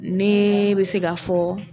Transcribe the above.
Nee bɛ se k'a fɔ